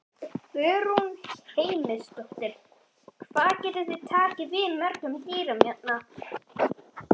Guðrún Heimisdóttir: Hvað getið þið tekið við mörgum dýrum hérna?